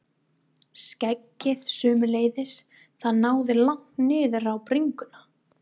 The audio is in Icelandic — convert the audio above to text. Skeggið sömuleiðis, það náði langt niður á bringuna.